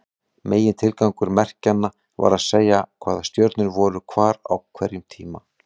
Megintilgangur merkjanna var að segja hvaða stjörnur voru hvar á hverjum tíma.